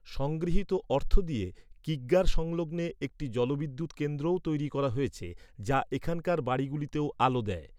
সংগৃহীত অর্থ দিয়ে কিগ্গার সংলগ্নে একটি জলবিদ্যুৎ কেন্দ্রও তৈরি করা হয়েছে, যা এখানকার বাড়িগুলিতেও আলো দেয়।